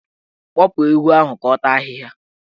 Kpụpụ ewu ahụ ka ọ ga taa ahịhịa!